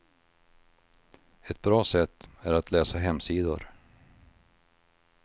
Ett bra sätt är att läsa hemsidor.